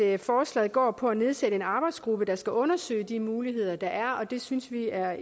at forslaget går på at nedsætte en arbejdsgruppe der skal undersøge de muligheder der er og det synes vi er